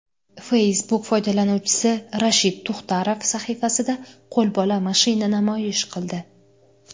Facebook foydalanuvchisi Rashid Tuxtarov sahifasida qo‘lbola mashina namoyish qildi.